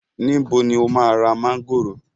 Níbo ni o máa ra mángòrò?